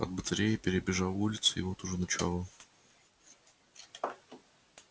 от батареи перебежал улицу и вот уже начало